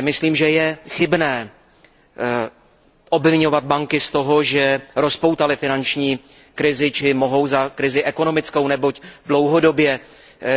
Myslím, že je chybné obviňovat banky z toho, že rozpoutaly finanční krizi či mohou za krizi ekonomickou, neboť dlouhodobě